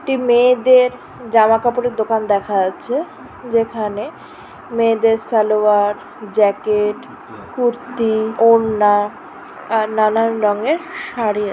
একটি মেয়েদেরজামা কাপড়ের দোকান দেখা যাচ্ছে যেখানে মেয়েদের সালোয়ারজ্যাকেট কুর্তিওড়নাআর নানান রঙের শাড়ি--